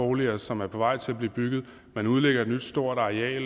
boliger som er på vej til at blive bygget man udlægger et stort areal